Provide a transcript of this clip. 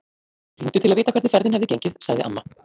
Þau hringdu til að vita hvernig ferðin hefði gengið, sagði amma.